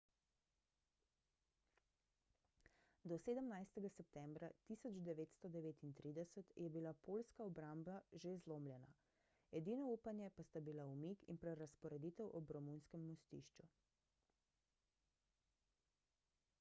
do 17 septembra 1939 je bila poljska obramba že zlomljena edino upanje pa sta bila umik in prerazporeditev ob romunskem mostišču